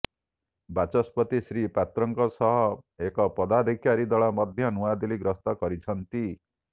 ବାଚସ୍ପତି ଶ୍ରୀ ପାତ୍ରଙ୍କ ସହ ଏକ ପଦାଧିକାରୀ ଦଳ ମଧ୍ୟ ନୂଆଦିଲ୍ଲୀ ଗସ୍ତ କରୁଛନ୍ତି